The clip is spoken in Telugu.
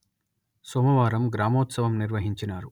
సోమవారం గ్రామోత్సవం నిర్వహించినారు